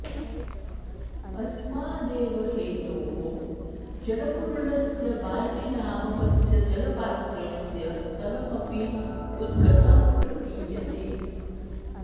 अस्मादेव हेतोः जलपूर्णस्य बाल्टीनामकस्य जलपात्रस्य तलमपि उद्गतं प्रतीयते